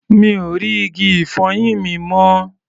Mi ò rí igi-ìfọyín mi mọ́.